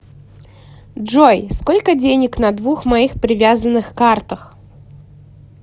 джой сколько денег на двух моих привязанных картах